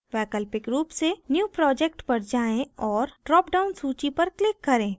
वैकल्पिक रूप से new project पर जाएँ और dropdown सूची पर click करें